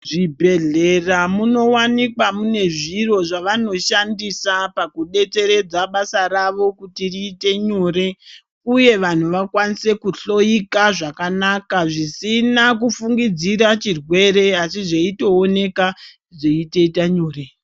Muzvibhedhlera munowanikwa mune zviro zvavanoshandisa pakudetseredza basa ravo kuti riite nyore uye vanthu vakwanise kuhloyika zvakanaka zvisina kufungidzira chirwere asi zveitooneka zveitoita nyore.